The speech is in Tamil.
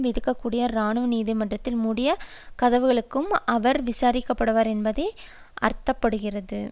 விதிக்க கூடிய இராணுவ நீதிமன்றத்தில் மூடிய கதவுகளுக்குள் அவர் விசாரிக்கப்படுவார் என்பதையே அர்த்த படுத்துகிறது